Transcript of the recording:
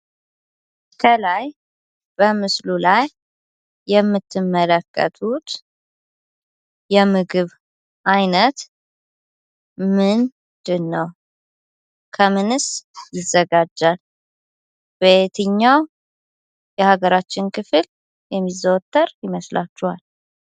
ከላይ በምስሉ ላይ የምትመለከቱት የምግብ አይነት ምንድን ነው? ከምንስ ይዘጋጃል? በየትኛው የሀገራችን ክፍል የሚዘወተር ይመስላችኋል?